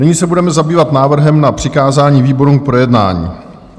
Nyní se budeme zabývat návrhem na přikázání výborům k projednání.